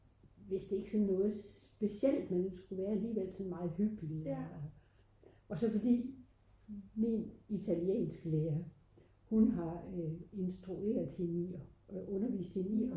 det er en film med Bodil Jørgensen en dansk film og øh